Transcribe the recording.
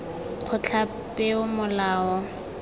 kgotlapeomolao